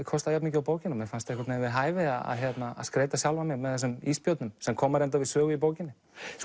kostaði jafn mikið og bókin og mér fannst einhvern veginn við hæfi að skreyta sjálfan mig með þessum ísbjörnum sem koma reyndar við sögu í bókinni